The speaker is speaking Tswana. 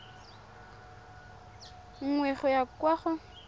nngwe go ya kwa go